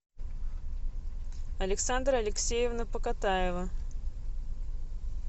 александра алексеевна покатаева